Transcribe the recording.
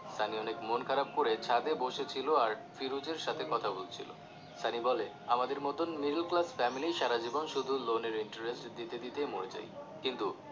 সানি অনেক মন খারাপ করে ছাদে বসে ছিলো আর ফিরোজের সাথে কথা বলছিলো সানি বলে আমাদের মত middle class family সারাজীবন শুধু শুধু loan এর interest দিতে দিতেই মরে যাই কিন্তু